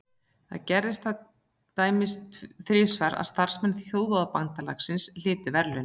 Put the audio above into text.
Þá gerðist það til dæmis þrisvar að starfsmenn Þjóðabandalagsins hlytu verðlaun.